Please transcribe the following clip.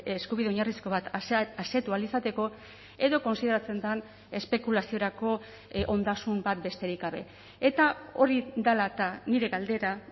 eskubide oinarrizko bat asetu ahal izateko edo kontsideratzen den espekulaziorako ondasun bat besterik gabe eta hori dela eta nire galdera